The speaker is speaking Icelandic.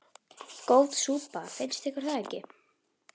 Góð súpa, finnst ykkur það ekki?